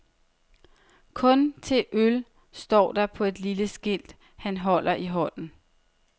Kun til øl, står der på et lille skilt, han holder i hånden.